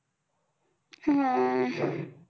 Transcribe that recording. हम्म